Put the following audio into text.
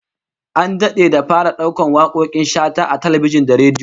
An dade da fara daukar wakokin Shata a talbijin da rediyo